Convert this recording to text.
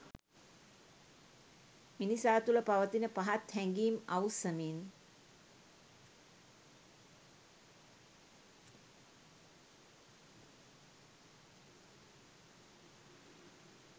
මිනිසා තුළ පවතින පහත් හැඟීම් අවුස්සමින්